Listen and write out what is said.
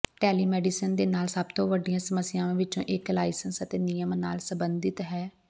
telemedicine ਦੇ ਨਾਲ ਸਭ ਤੋਂ ਵੱਡੀਆਂ ਸਮੱਸਿਆਵਾਂ ਵਿੱਚੋਂ ਇਕ ਲਾਇਸੈਂਸ ਅਤੇ ਨਿਯਮ ਨਾਲ ਸੰਬੰਧਤ ਹੈ